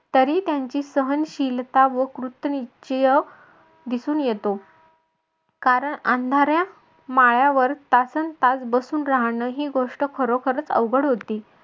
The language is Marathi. तरी त्यांची सहनशीलता व कृतनिश्चय दिसून येतो. कारण अंधाऱ्या माळ्यावर तासनतास बसून राहणं ही गोष्ट खरोखरंच अवघड होती.